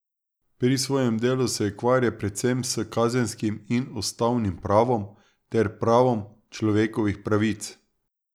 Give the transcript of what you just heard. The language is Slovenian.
Pri svojem delu se ukvarja predvsem s kazenskim in ustavnim pravom ter pravom človekovih pravic.